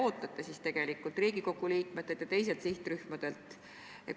Ja mida te ootate Riigikogu liikmetelt ja teistelt sihtrühmadelt?